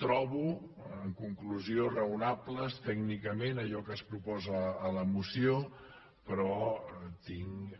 trobo en conclusió raonables tècnicament allò que es proposa a la moció però tinc